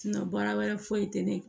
baara wɛrɛ foyi tɛ ne